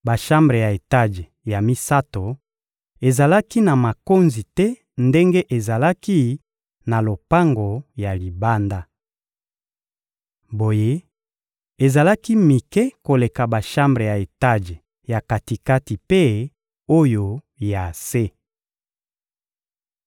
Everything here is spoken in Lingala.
Bashambre ya etaje ya misato ezalaki na makonzi te ndenge ezalaki na lopango ya libanda. Boye, ezalaki mike koleka bashambre ya etaje ya kati-kati mpe oyo ya se.